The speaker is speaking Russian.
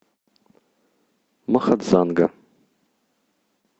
махадзанга